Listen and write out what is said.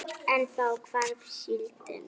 En þá hvarf síldin.